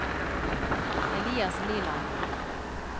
Elias Liland